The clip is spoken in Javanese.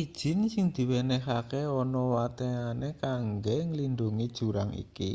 idin sing diwenehke ana wateane kanggo nglindhungi jurang iki